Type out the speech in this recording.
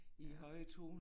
Ja